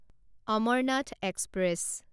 Amarnath express